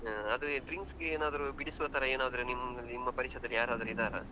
ಅದು ಈ drinks ಗೇನಾದ್ರು ಬಿಡಿಸುವ ತರ ಏನಾದ್ರು ನಿಮ್~ ನಿಮ್ಮ ಪರಿಚಯದಲ್ಲಿ ಯಾರಾದ್ರು ಇದ್ದಾರಾ?